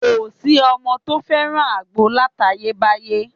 Kò sí ọmọ tó fẹ́ràn àgbo látayébáyé